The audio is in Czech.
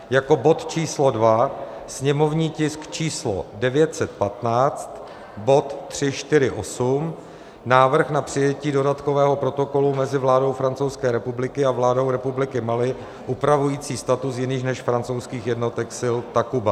Jako bod číslo 2, sněmovní tisk číslo 915, bod 348 - Návrh na přijetí dodatkového protokolu mezi vládou Francouzské republiky a vládou Republiky Mali upravující status jiných než francouzských jednotek sil Takuba.